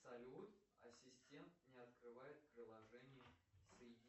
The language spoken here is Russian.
салют ассистент не открывает приложение